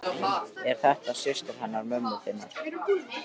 Er þetta ekki systir hennar mömmu þinnar?